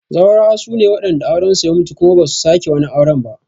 Zaurawa sune wadanda auren su ya mutu kuma ba su sake wani auren ba